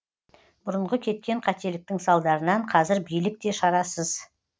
бұрынғы кеткен қателіктің салдарынан қазір билік те шарасыз